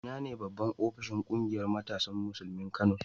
Ina ne babban ofishin ƙungiyar matasan Musulmin Kano?